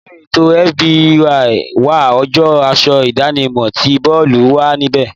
Nínú ètò FYB wa, ọjọ́ aṣọ idanimo tí boolu wà níbẹ̀.